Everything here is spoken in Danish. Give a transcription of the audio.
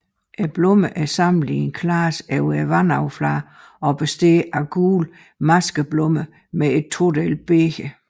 Blomsterne er samlet i en klase over vandoverfladen og består af gule maskeblomster med et todelt bæger